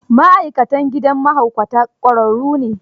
Ma'aikatan gidan mahaukata ƙwararru ne.